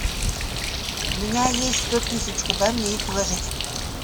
у меня есть сто тысяч куда мне их вложить